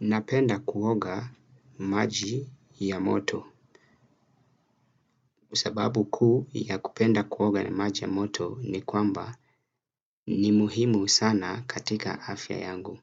Napenda kuoga maji ya moto. Sababu kuu ya kupenda kuoga na maji ya moto ni kwamba ni muhimu sana katika afya yangu.